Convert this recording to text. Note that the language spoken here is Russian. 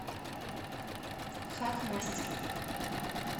хак мастер